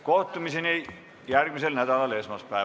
Kohtumiseni järgmisel nädalal, esmaspäeval!